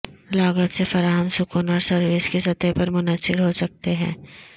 لاگت سے فراہم سکون اور سروس کی سطح پر منحصر ہو سکتے ہیں